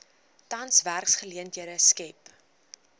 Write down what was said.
tans werksgeleenthede skep